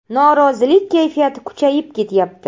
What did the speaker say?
Norozilik kayfiyati kuchayib ketyapti.